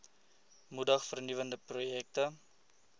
moedig vernuwende projekte